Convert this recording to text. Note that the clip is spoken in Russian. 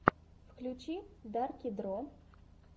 включи дарки дро